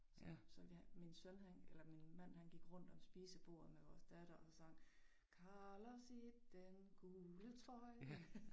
Så så vi har min søn han eller min mand han gik rundt om spisebordet med vores datter og så sang Carlos i den gule trøje